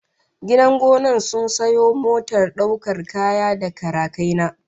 Gidan gonan sun sayo motar daukar kaya da karakaina